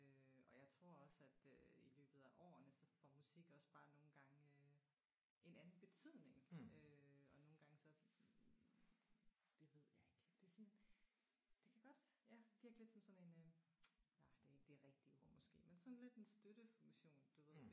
Og jeg tror også at øh i løbet af årene så får musik også bare nogle gange øh en anden betydning øh og nogle gange så det ved jeg ikke det er sådan det kan godt ja virke lidt som sådan en det ikke det rigtige ord måske men sådan lidt en støttefunktion du ved